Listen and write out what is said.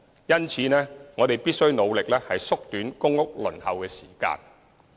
因此，我們必須努力縮短公屋輪候時間。